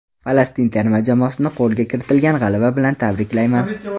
Falastin terma jamoasini qo‘lga kiritilgan g‘alaba bilan tabriklayman.